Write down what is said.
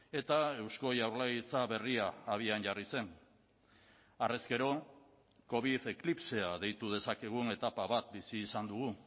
eta eusko jaurlaritza berria abian jarri zen harrezkero covid eklipsea deitu dezakegun etapa bat bizi izan dugu